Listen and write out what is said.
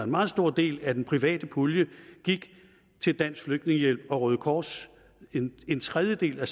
meget stor del af den private pulje gik til dansk flygtningehjælp og røde kors en en tredjedel af